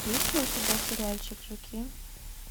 есть ли у тебя сериальчик жуки